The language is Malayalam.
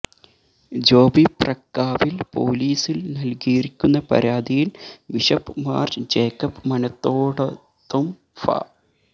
ജോബി മപ്രക്കാവില് പൊലീസില് നല്കിയിരിക്കുന്ന പരാതിയില് ബിഷപ്പ് മാര് ജേക്കബ് മനത്തോടത്തും ഫാ